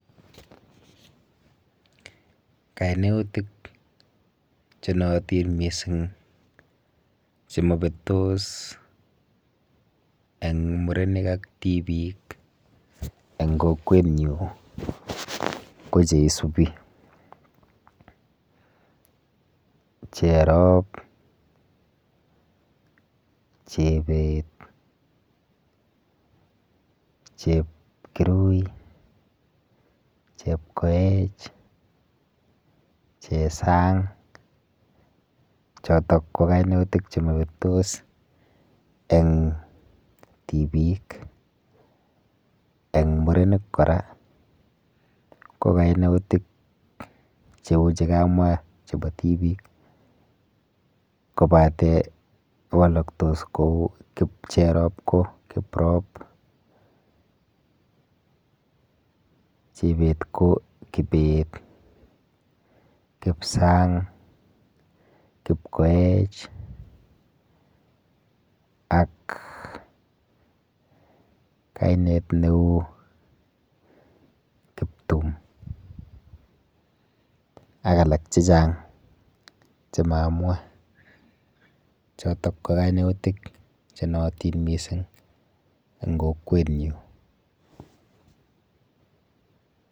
Kainautik chenootin mising chemapetos eng murenik ak tipik eng kokwenyu ko cheisubi' Cherop, Chebet, Chepkirui, Chepkoech, Chesang. Chotok ko kainaik chemabetos eng tipik. Eng murenik kora ko kainautik cheu chekamwa chepo tipik kobate waloktos kou Cherop ko Kiprop, Chebet ko Kibet, Kipsang, Kipkoech ak kainet neu Kiptum ak alak chechang chemaamwa. Chotok ko kainautik chenootin mising eng kokwenyu.